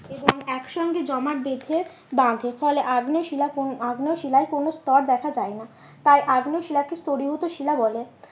এবং এক সঙ্গে জমাট বেঁধে, বাঁধে ফলে আগ্নেয় শিলার আগ্নেয় শিলায় কোনো স্তর দেখা যায় না। তাই আগ্নেয় শিলাকে স্তরীভূত শিলা বলে।